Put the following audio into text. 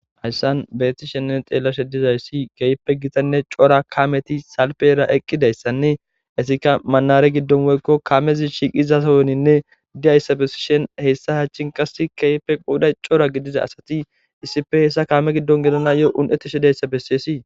hayssan bettishenne xeelashe dizayssi keeyppe gitanne cora kaameti salpera eqqidayssanne esika manare giddon woykko kamezi shiiqizasowoninne diyayssa besishen hessa hachin qassi keeyppe qouday cora gidiza asati issife hessa kaame giddon gelana yo un7ettishe dayssa besiyesii